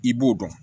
I b'o dɔn